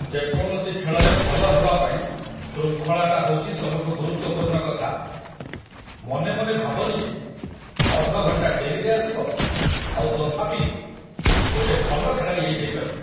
ଯେକୌଣସି ଖେଳରେ ଭଲ ହବା ପାଇଁ ଶୃଙ୍ଖଳାଟା ହଉଚି ସବୁଠୁ ଗୁରୁତ୍ୱପୂର୍ଣ୍ଣ କଥା । ମନେମନେ ଭାବନି ଯେ ଅଧ ଘଣ୍ଟା ଡେରିରେ ଆସିବ ଆଉ ତଥାପି ଗୋଟେ ଭଲ ଖେଳାଳି ହେଇଯାଇପାରିବ ।